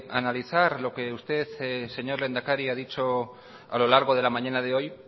analizar lo que usted señor lehendakari ha dicho a lo largo de la mañana de hoy